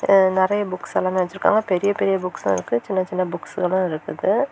அ நெறைய புக்ஸ் எல்லாமெ வச்சிருக்காங்க பெரிய பெரிய புக்ஸ்சு இருக்கு சின்ன சின்ன புக்ஸ்களு இருக்குது.